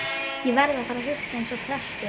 Ég verð að fara að hugsa eins og prestur.